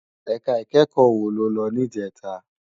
Èká ikèékò wó ló lò nijètá?